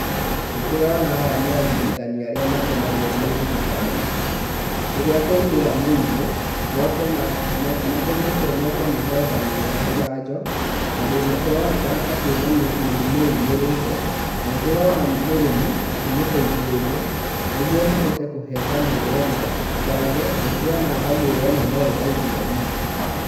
Nĩ ndĩrona aya nĩ arigitani arĩa matũmagwo nĩ thirikari rĩrĩa kwaumĩra mũrimũ, matũmĩtwo moke mahe ngamĩra njanjo, tondũ nĩ kũronekana ta kwĩ na mũrimũ umĩrĩte, na nĩ ndĩrona mũrĩmi akĩmũteithĩrĩria, nĩguo mahote kũhe ngamĩra ĩno njanjo, na nĩ ndĩrona ngamĩra ĩno no ĩraigua ruo.